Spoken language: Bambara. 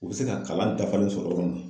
U bɛ se ka kalan dafalen sɔrɔ yɔrɔ min na.